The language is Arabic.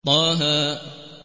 طه